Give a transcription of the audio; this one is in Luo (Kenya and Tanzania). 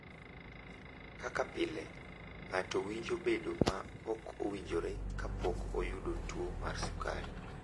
Kaka pile, ng’ato winjo bedo ma ok owinjore kapok oyudo tuo mar sukari.